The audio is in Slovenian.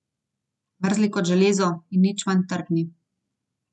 Mrzli kot železo, in nič manj trdni.